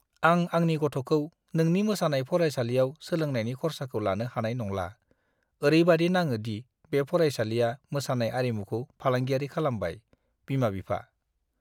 आं आंनि गथ'खौ नोंनि मोसानाय फरायसालियाव सोलोंनायनि खर्साखौ लानो हानाय नंला! ओरैबादि नाङो दि बे फरायसालिआ मोसानाय आरिमुखौ फालांगियारि खालामबाय! (बिमा-बिफा)